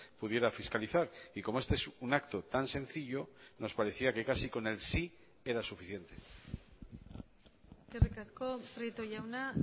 pudiera fiscalizar y como este es un acto tan sencillo nos parecía que casi con el sí era suficiente eskerrik asko prieto jauna